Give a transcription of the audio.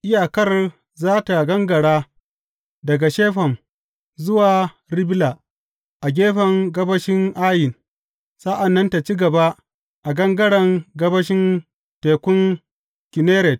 Iyakar za tă gangara daga Shefam zuwa Ribla a gefen gabashin Ayin, sa’an nan tă ci gaba a gangaren gabashin Tekun Kinneret.